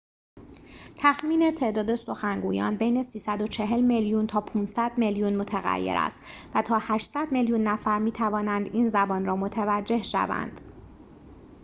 تخمین تعداد سخنگویان بین ۳۴۰ میلیون تا ۵۰۰ میلیون متغیر است و تا ۸۰۰ میلیون نفر می‌توانند این زبان را متوجه شوند